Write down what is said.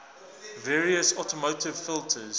various automotive filters